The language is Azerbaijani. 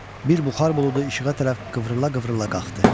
Bir buxar buludu işığa tərəf qıvrıla-qıvrıla qalxdı.